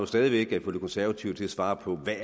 stadig væk at få de konservative til at svare på hvad